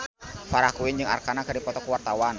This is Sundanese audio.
Farah Quinn jeung Arkarna keur dipoto ku wartawan